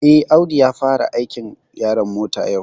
Eh, Audu ya fara aikin yaron mota yau